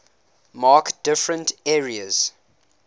mark different areas